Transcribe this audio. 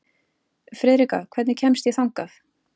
Friðrikka, hvernig kemst ég þangað?